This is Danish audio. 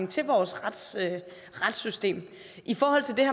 til vores retssystem i forhold til det